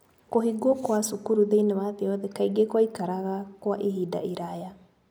Kũhingwo kwa cukuru thĩinĩ wa thĩ yothe, kaingĩ kwaikaraga kwa ihinda iraya.